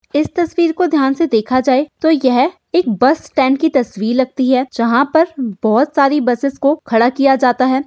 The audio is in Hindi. इस तस्वीर को ध्यान से देखा जाए तो यह एक बस-स्टैन्ड की तस्वीर लगती है जहां पर बहोत सारी बसेस को खड़ा किया जाता है।